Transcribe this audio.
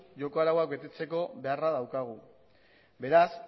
joko arauak betetzeko beharra daukagu beraz